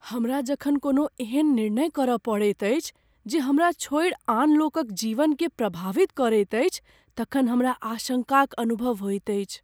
हमरा जखन कोनो एहन निर्णय करय पड़ैत अछि जे हमरा छोड़ि आन लोकक जीवनकेँ प्रभावित करैत अछि तखन हमरा आशंकाक अनुभव होइत अछि।